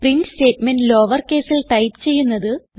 print statement lowercaseൽ type ചെയ്യുന്നത്